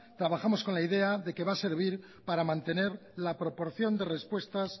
trabajamos con la idea que va a servir para mantener la proporción de respuestas